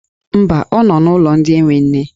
Mba, ọ nọ n'ụlọ ndị enwe nne.